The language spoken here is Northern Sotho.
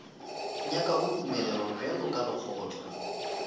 nyakago tumelelo bjalo ka lekgotla